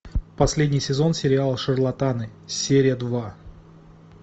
последний сезон сериала шарлатаны серия два